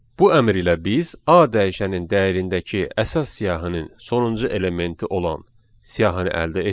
Bu əmr ilə biz A dəyişənin dəyərindəki əsas siyahının sonuncu elementi olan siyahını əldə etdik.